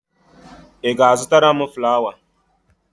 Ị ga-azụtara m flawa?